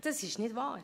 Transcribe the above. Das ist nicht wahr!